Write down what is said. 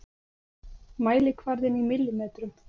Mælikvarðinn í millimetrum.